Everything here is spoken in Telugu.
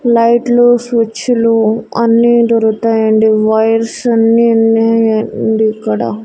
లైట్లు స్విచ్ లు అన్నీ దొరుతాయండి వైర్స్ అన్నీ ఉన్నాయ్ అండీ ఇక్కడ.